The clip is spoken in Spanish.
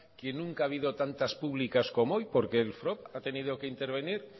que nunca ha habido tantas públicas como hoy porque el frob ha tenido que intervenir